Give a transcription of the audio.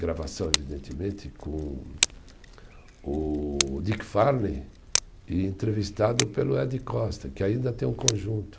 Gravação, evidentemente, com o Dick Farney e entrevistado pelo Ed Costa, que ainda tem um conjunto.